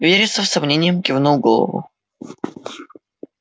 вересов с сомнением кивнул голову